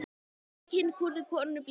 Undir kinn kúrðu konunni blíðu.